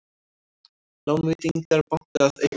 Lánveitingar banka að aukast